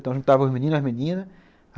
Então a gente juntava os meninos e as meninas.